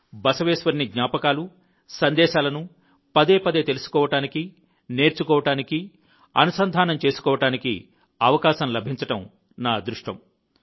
బసవేశ్వరుని జ్ఞాపకాలు సందేశాలను పదేపదే తెలుసుకోవడానికి నేర్చుకోవడానికి మరియు కనెక్ట్ అవ్వడానికి నాకు అవకాశం లభించడం నా అదృష్టం